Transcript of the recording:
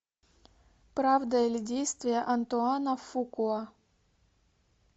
правда или действие антуана фукуа